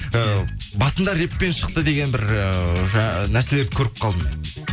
ы басында рэппен шықты деген бір ы нәрселерді көріп қалдым мен